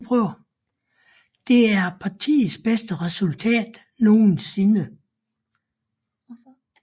Det er partiets bedste resultat nogensinde